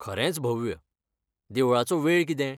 खरेंच भव्य, देवळाचो वेळ कितें?